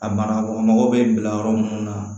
A banakɔ mago bɛ bila yɔrɔ mun na